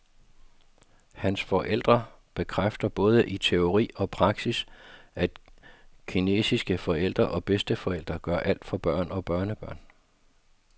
Hans forældre bekræfter både i teori og praksis, at kinesiske forældre og bedsteforældre, gør alt for børn og børnebørn.